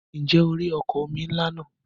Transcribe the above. Ǹjẹ́ o rí ọkọ̀ omi ńlá náà?